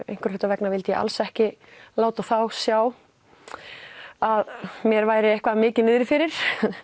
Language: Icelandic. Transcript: einhverra hluta vegna vildi ég alls ekki láta þá sjá að mér væri eitthvað mikið niðri fyrir